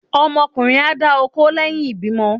ọmọ ọkunrín a dà okó leyín ìbímo